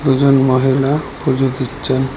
দুজন মহিলা পুজো দিচ্চেন ।